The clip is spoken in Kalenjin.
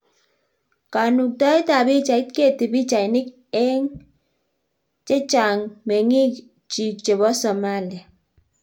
Kanukitaet ab pichait Getty pichainik eng ok chang mengik chik chebo Somalia